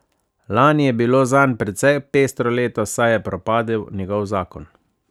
Lani je bilo zanj precej pestro leto, saj je propadel njegov zakon.